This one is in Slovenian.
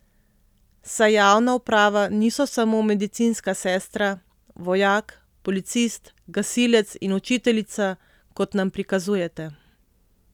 Saj javna uprava niso samo medicinska sestra, vojak, policist, gasilec in učiteljica, kot nam prikazujete.